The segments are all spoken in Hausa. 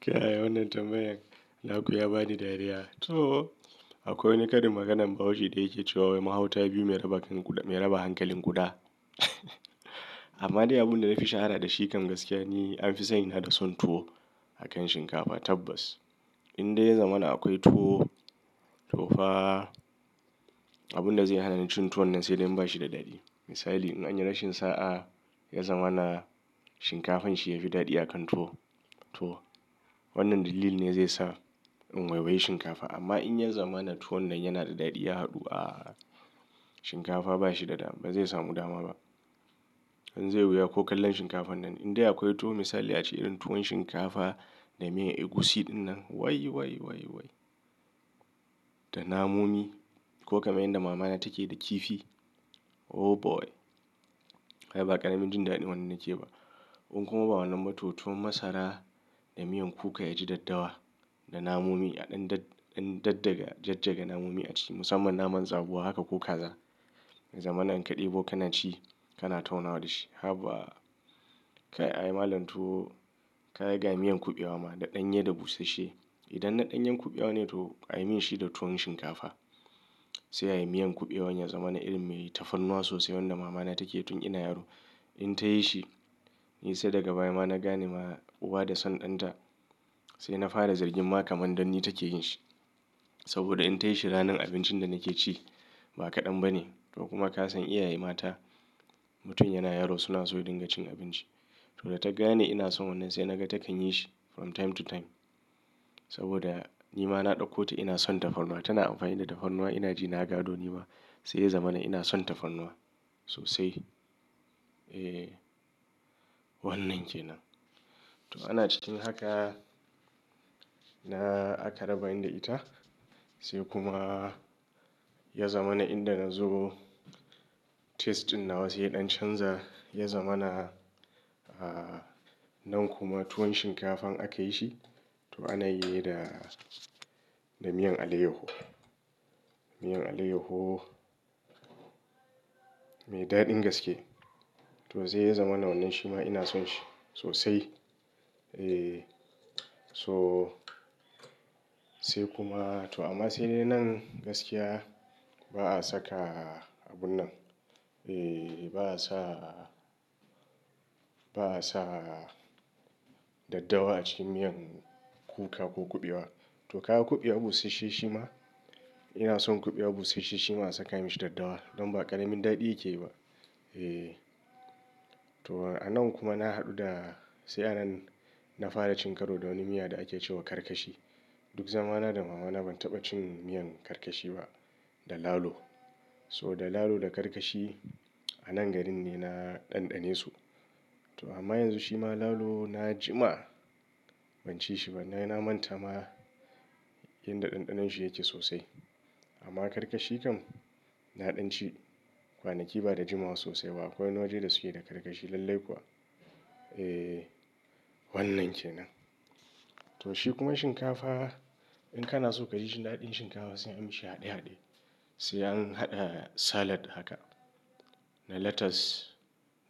Kai wannan tambayan, naku ya bani dariya. To akwai wani karin maganan bahaushe da yake cewa "mahauta biyu mai raba hankalin guda." Amma dai abun da na fi shahara da shi kan gaskiya ni an fi sani da son tuwo akan shinkafa tabbas. Indai ya zama na akwai tuwo, to fa abin da zai hana ni cin tuwon nan sai dai in bashi da daɗi. Misali in anyi rashin sa'a ya zama na shinkafan shi yafi daɗi akan tuwo. Wannan dalilin ne zai sa in waiiwaye shinkafa. Amma in ya zama na tuwon nan yana da daɗi ya haɗu a shinkafa ba shi da dama ba zai samu dama ba. Dan zai wuya ko kallon shinkafan nan indai akwai tuwo misali ace idan tuwon shinkafa na miyan egusi ɗinnan wai wai wai wai da namomi ko kamar yadda mama na take yi da kifi oh boy! Kai ba ƙaramin jin daɗin wannan ke ba. In kuma ba wannan ba to tuwon masara da miyan kuka ya ji daddawa da namomi a ɗan daddaga jajjaga namomi a ciki musamman naman zabuwa haka ko kaza. Ya zama na in ka ɗebo kana ci kana taunawa da shi. Haba! Kai ai malan tuwo kaga ga miyan kuɓewa ma da ɗanye da busashe. Idan na ɗanyen kuɓewa ne tuwo ayi mishi da tuwon shinkafa. Sai ayi miyan kuɓewan ya zama na irin mai tafarnuwa sosai wanda mama na take yi tun ina yaro. In ta yi shi ni sai daga baya ma na gane ma uwa da son ɗan ta. Sai na fara zargin ma kamar dan ni take yin shi. Saboda in ta yi shi ranar abincin da nake ci ba kaɗan ba ne. To kuma ka san iyaye mata mutum yana yaro suna so ya dinga cin abinci. To da ta gane ina son wannan sai na ga takan yi shi from time to time. Saboda ni ma na ɗauko ta ina son tafarnuwa. Tana amfani da tafarnuwa ina ji na gado ni ma sai ya zama na ina son tafarnuwa sosai. E wannan ke nan. To ana cikin haka na aka rabani da ita sai kuma ya zama na inda na zo taste ɗin nawa sai ya ɗan canza. Ya zama na, a nan kuma tuwon shinkafan aka yi shi to ana yi da, da miyan alayyaho. Miyan alayyaho mai daɗin gaske to zai yi zama na wannan shi ma ina son shi sosai. E so sai kuma to amma sai dai nan gaskiya ba a saka abun nan. E ba a sa, ba a sa daddawa a cikin miyan kuka ko kuɓewa. To ka ga kuɓewa busasshe shi ma ina son kuɓewa busasshe shi ma a saka mishi daddawa. Don ba ƙaramin daɗi yake yi ba. E to a nan kuma na haɗu da sai a nan na fara cin karo da wani miya da ake cewa karkashi. Duk zama na da mama na ban taɓa cin miyan karkashi ba da lalo. So da lalo da karkashi a nan gari ne na ɗanɗane su. To amma yanzu shi ma lalo na jima ban ci shi ba. Na manta ma inda ɗanɗanon shi yake sosai. Amma karkashi kam na ɗan ci kwanaki ba da jimawa sosai ba. Akwai wani waje da suke da karkashi lallai kuwa. E wannan ke nan. To shi kuma shinkafa in kana so ka ji shi daɗin shinkafa sai anyi mishi haɗe haɗe. Sai an haɗa salad haka da lettuce,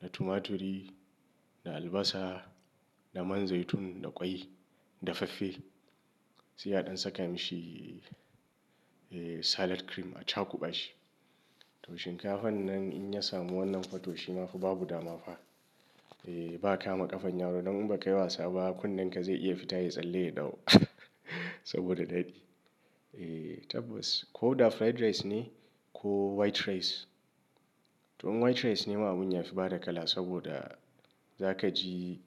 da tumaturi, da albasa, da man zaitun, da ƙwai dafaffe. Sai a ɗan saka mishi e salad cream a chakuɓa shi. To shinkafan nan in ya samu wannan fa to shi ma fa babu dama fa. E ba ka ma ƙafan yaro don in ba ka yi wasa ba kunnen ka zai iya fita ya tsalle dau. Saboda daɗi. E tabbas ko da fried rice ne ko white rice. To in white rice ne ma abun yafi bada kala saboda za ka ji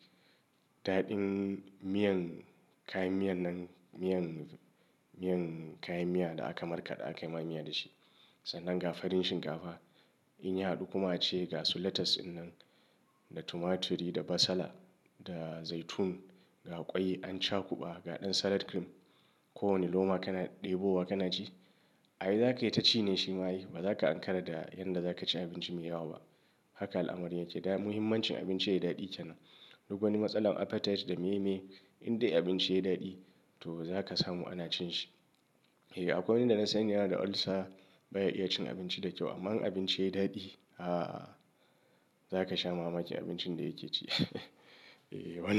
daɗin miyan kayan miyan nan miyan, miyan kayan miya da aka markaɗa aka yi ma miya da shi. Sannan ga farin shinkafa in ya haɗu kuma a ce ga su lettuce dinnan, da tumaturi, da basala, da zaitun, ga ƙwai an chakuɓa, ga ɗan salad cream. Ko wane loma kana ɗebo wa kana ci ai zaka yi ta ci ne shi ma yi. Ba za ka Ankara da yanda za ka ci abinci mai yawa ba. Haka al'amari yake. Da muhimmancin abinci ya yi daɗi ke nan. Duk wani matsala apetite da meye meye Indai abinci yayi daɗi to za ka samu ana cin shi. E akwai wanda na san yana da ulcer baya iya cin abinci da kyau. Amma in abinci yayi daɗi a zaka sha mamaki abincin da yake ci. E wannan.